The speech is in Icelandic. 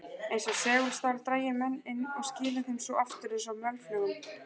Eins og segulstál drægi menn inn og skili þeim svo aftur eins og mölflugum.